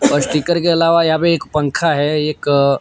और स्टीकर के अलावा यहां पे एक पंखा है एक--